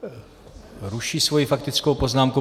Ruší svoji faktickou poznámku.